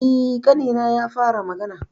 E, ƙanina ya fara magana.